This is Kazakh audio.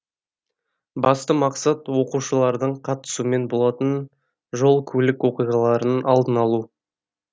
басты мақсат оқушылардың қатысуымен болатын жол көлік оқиғаларының алдын алу